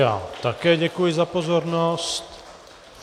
Já také děkuji za pozornost.